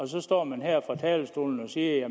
så står man her fra talerstolen og siger at